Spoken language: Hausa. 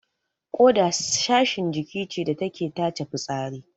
Ƙoda Sashin jiki ce da take tace fitsari